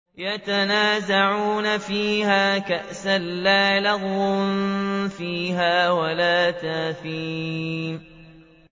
يَتَنَازَعُونَ فِيهَا كَأْسًا لَّا لَغْوٌ فِيهَا وَلَا تَأْثِيمٌ